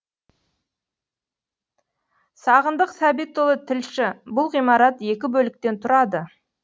сағындық сәбитұлы тілші бұл ғимарат екі бөліктен тұрады